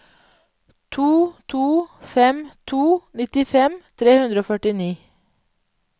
to to fem to nittifem tre hundre og førtini